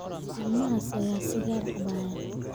Ilmahaas ayaa sigaar cabbaya